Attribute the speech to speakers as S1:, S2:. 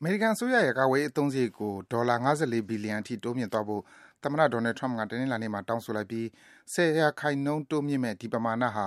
S1: အမေရိကန်အစိုးရရဲ့ ကာကွယ်ရေး အသုံးစရိတ်ကို ဒေါ်လာ ၅၄ ဘီလီယံ တိုးမြင့်သွားဖို့ သမ္မတ Donald Trump က တနင်္လာနေ့မှာ တောင်းဆိုလိုက်ပြီး ၁၀% တိုးမြင့်မယ့် ဒီပမာဏဟာ